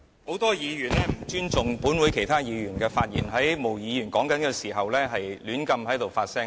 很多議員不尊重本會其他議員的發言，在毛議員發言時胡亂發聲。